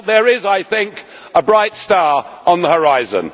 Well, there is, I think, a bright star on the horizon.